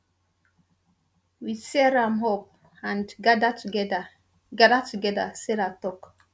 we tear am up and gada togeda gada togeda sarah tok